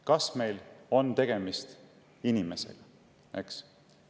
Kas meil on tegemist inimesega?